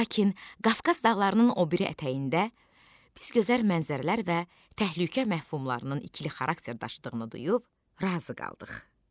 Lakin Qafqaz dağlarının o biri ətəyində biz gözəl mənzərələr və təhlükə məfhumlarının ikili xarakterdaşlığını duyub razı qaldıq.